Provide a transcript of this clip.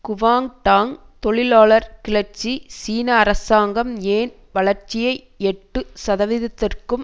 Guangdong தொழிலாளர் கிளர்ச்சி சீன அரசாங்கம் ஏன் வளர்ச்சியை எட்டு சதவீதத்திற்கும்